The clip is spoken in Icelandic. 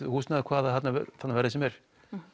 húsnæði á hvaða verði sem er